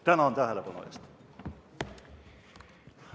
Tänan tähelepanu eest!